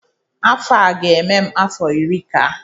afọ a ga-eme m afọ iri ka